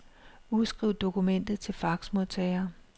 Udskriv dokumentet til faxmodtager.